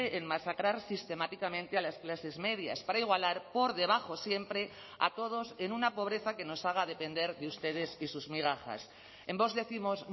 en masacrar sistemáticamente a las clases medias para igualar por debajo siempre a todos en una pobreza que nos haga depender de ustedes y sus migajas en vox décimos